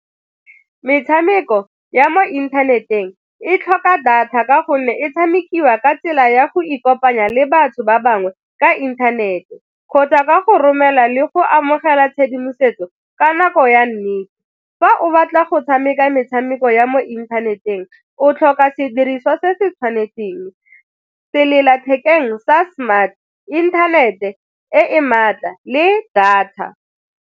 Metshameko ya mo inthaneteng e tlhoka data ka gonne e tshamekiwa ka tsela ya go ikopanya le batho ba bangwe ka inthanete kgotsa ka go romela le go amogela tshedimosetso ka nako ya nnete. Fa o batla go tshameka metshameko ya mo inthaneteng o tlhoka sediriswa se se tshwanetseng, sellathekeng sa smart, internet-e e e maatla le data.